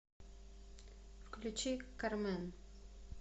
включи кармен